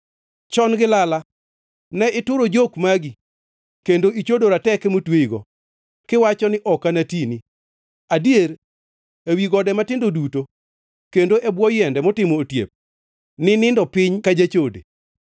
“Chon gi lala ne ituro jok magi kendo ichodo rateke motweyigo; kiwacho ni, ‘Ok anatini!’ Adier, ewi gode matindo duto kendo e bwo yiende motimo otiep, ninindo piny ka jachode.